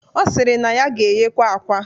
Ọ sịrị na ya ga-eghe akwa